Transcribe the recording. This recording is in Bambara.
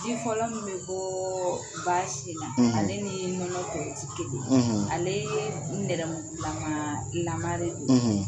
Ji fɔlɔ min bɛ bɔɔɔ baa sin na ale ni nɔnɔ tɔw tɛ kelen ye ale nɛrɛmugulaman lamare de ye